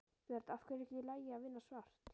Björn: Af hverju er ekki í lagi að vinna svart?